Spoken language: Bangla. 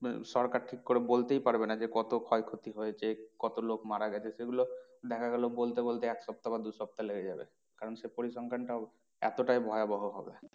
আহ সরকার ঠিক করে বলতেই পারবে না যে কত ক্ষয়ক্ষতি হয়েছে কত লোক মারা গেছে সেগুলো দেখা গেলো বলতে বলতে এক সপ্তাহ বা দু সপ্তাহ লেগে যাবে কারণ সে পরিসংখ্যানটাও এতটাই ভয়াবহ হবে।